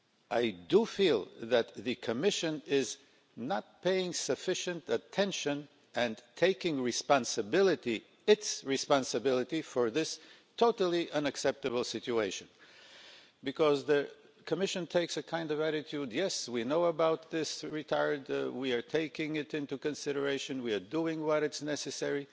I feel that the Commission is not paying sufficient attention and taking responsibility, its responsibility, for this totally unacceptable situation. The Commission takes the kind of attitude that it knows about this and is taking it into consideration and doing what is necessary.